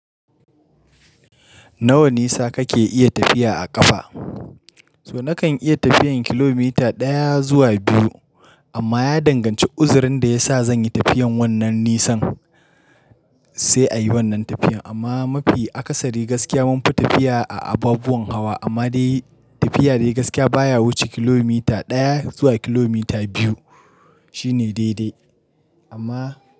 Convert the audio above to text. Nawa nisa kake iya tafiya a ƙafa? So nakan iya tafiyan kilomita ɗaya zuwa biyu amma ya danganci uzurin da ya sa zanyi tafiyan wannan nisan sai a yi wannan tafiyan. Amma mafi akasari gaskiya munfi tafiya a abubuwan hawa amma dai tafiya dai gaskiya baya wuce kilomita ɗaya zuwa kilomita biyu shine daidai amma.